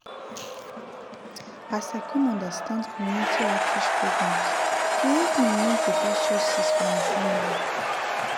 as i come understand community outreach programs e help me make better choices for my family.